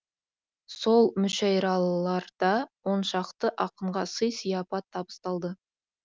сол мүшәйраларда оншақты ақынға сый сияпат табысталды